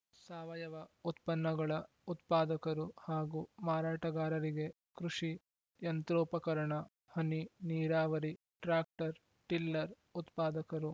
ಸಾವಯವ ಉತ್ಪನ್ನಗಳ ಉತ್ಪಾದಕರು ಹಾಗೂ ಮಾರಾಟಗಾರರಿಗೆ ಕೃಷಿ ಯಂತ್ರೋಪಕರಣ ಹನಿ ನೀರಾವರಿ ಟ್ರಾಕ್ಟರ್‌ಟಿಲ್ಲರ್‌ ಉತ್ಪಾದಕರು